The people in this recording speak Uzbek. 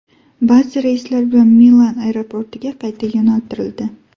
Ba’zi reyslar Milan aeroportiga qayta yo‘naltirildi.